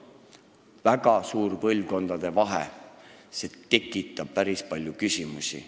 Väga suur vahe põlvkondade käitumises, see tekitab päris palju küsimusi.